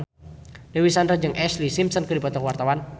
Dewi Sandra jeung Ashlee Simpson keur dipoto ku wartawan